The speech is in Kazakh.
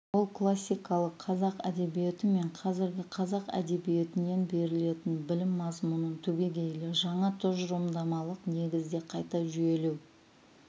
ол классикалық қазақ әдебиеті мен қазіргі қазақ әдебиетінен берілетін білім мазмұнын түбегейлі жаңа тұжырымдамалық негізде қайта жүйелеу